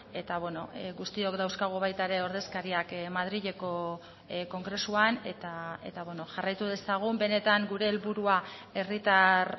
eta guztiok dauzkagu baita ere ordezkariak madrileko kongresuan eta jarraitu dezagun benetan gure helburua herritar